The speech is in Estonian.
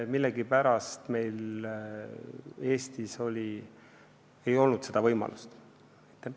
Millegipärast meil Eestis seda võimalust ei olnud.